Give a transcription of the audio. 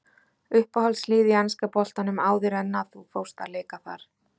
Uppáhaldslið í enska boltanum áður en að þú fórst að leika þar?